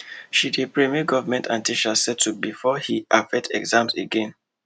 she dey pray make government and teachers settle before he affect exams again